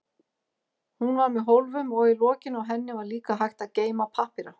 Hún var með hólfum og í lokinu á henni var líka hægt að geyma pappíra.